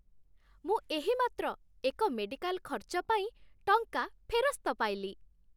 ମୁଁ ଏହିମାତ୍ର ଏକ ମେଡ଼ିକାଲ ଖର୍ଚ୍ଚ ପାଇଁ ଟଙ୍କା ଫେରସ୍ତ ପାଇଲି।